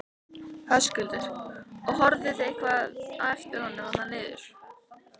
Höskuldur: Og horfðuð þið eitthvað á eftir honum þarna niður?